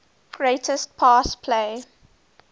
greatest pass play